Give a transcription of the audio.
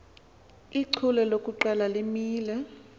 ichule lokuqala limele